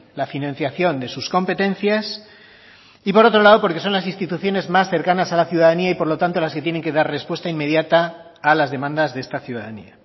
la financiación de sus competencias y por otro lado porque son las instituciones más cercanas a la ciudadanía y por lo tanto las que tienen que dar respuesta inmediata a las demandas de esta ciudadanía